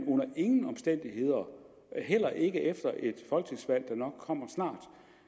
under ingen omstændigheder heller ikke efter et folketingsvalg der nok kommer snart